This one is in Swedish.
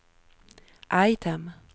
item